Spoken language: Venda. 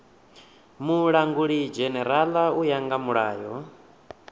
mulangulidzhenerala u ya nga mulayo